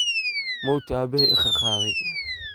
Mowti abahey iqaqadey.